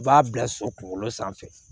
U b'a bila so kunkolo sanfɛ